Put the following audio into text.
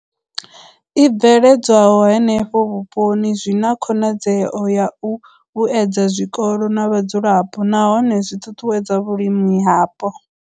I bveledzwaho henefho vhuponi zwi na khonadzeo ya u vhuedza zwikolo na vhadzulapo nahone zwi ṱuṱuwedza vhulimi hapo.